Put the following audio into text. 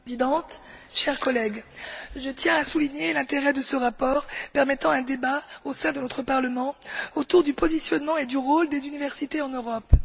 Madame la Présidente, chers collègues, je tiens à souligner l'intérêt de ce rapport qui ouvre un débat, au sein de notre Parlement, autour du positionnement et du rôle des universités en Europe.